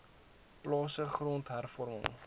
plase grond hervorming